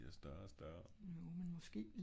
det blir større og større